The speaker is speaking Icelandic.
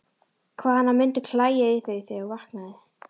Hvað hana mundi klæja í þau þegar hún vaknaði!